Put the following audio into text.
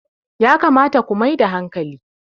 yakamata ku Mai da hankali!